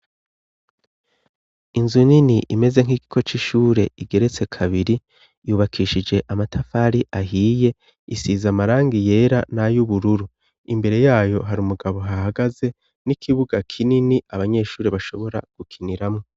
Inzu nini, imeze nk'igiko c'ishure, igeretse kabiri, yubakishije amatafari ahiye, isize amarangi yera n'ay'ubururu, imbere yayo hari umugabo ahahagaze, n'ikibuga kinini abanyeshuri bashobora gukiniramwo.